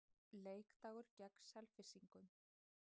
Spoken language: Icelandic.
Leikdagur gegn Selfyssingum.